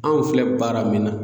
Anw filɛ baara min na